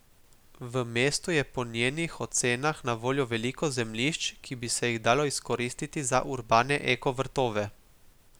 V mestu je po njenih ocenah na voljo veliko zemljišč, ki bi se jih dalo izkoristiti za urbane eko vrtove.